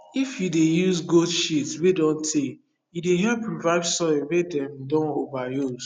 if you dey use goat shit wey don tey e dey help revive soil wey them don over use